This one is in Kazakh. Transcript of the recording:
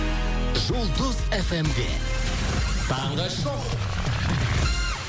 жұлдыз эф эм де таңғы шоу